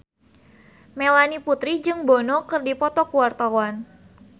Melanie Putri jeung Bono keur dipoto ku wartawan